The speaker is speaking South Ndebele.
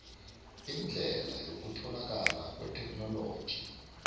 indlela yokutholakala kwetheknoloji